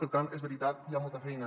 per tant és veritat hi ha molta feina